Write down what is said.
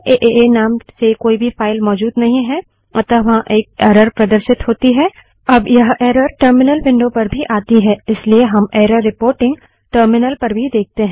अब एएए नाम से कोई भी फाइल मौजूद नहीं है अतः वहाँ एक एरर प्रदर्शित होती है अब यह एरर टर्मिनल विंडो पर भी आती है इसलिए हम एरर रिपोर्टिंग टर्मिनल पर भी देखते हैं